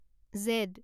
Z